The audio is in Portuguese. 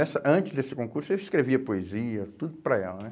Essa, antes desse concurso, eu escrevia poesia, tudo para ela, né?